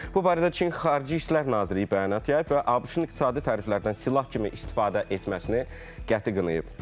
Bu barədə Çin Xarici İşlər Nazirliyi bəyanat yayıb və ABŞ-ın iqtisadi təriflərdən silah kimi istifadə etməsini qəti qınayıb.